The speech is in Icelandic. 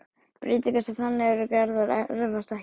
Breytingar sem þannig eru gerðar erfast ekki.